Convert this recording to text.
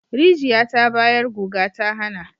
Rijiya ta bayar guga ta hana